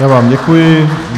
Já vám děkuji.